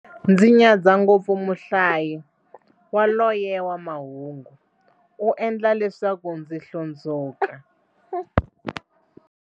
Ndzi nyadza ngopfu muhlayi yaloye wa mahungu, u endla leswaku ndzi hlundzuka.